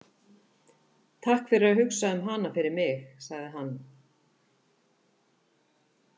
Takk fyrir að hugsa um hana fyrir mig, sagði hann.